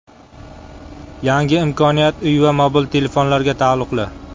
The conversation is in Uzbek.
Yangi imkoniyat uy va mobil telefonlarga taalluqli.